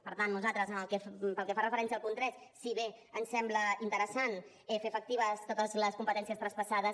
per tant nosaltres pel que fa referència al punt tres si bé ens sembla interessant fer efectives totes les competències traspassades